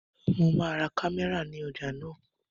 Mo máa ra kámẹ́rà ní ọjà náà